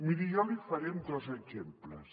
miri jo l’hi faré amb dos exemples